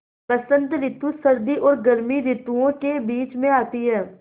बसंत रितु सर्दी और गर्मी रितुवो के बीच मे आती हैँ